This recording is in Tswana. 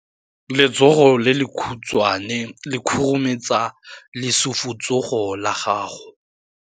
Letsogo le lekhutshwane le khurumetsa lesufutsogo la gago.